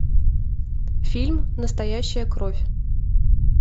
фильм настоящая кровь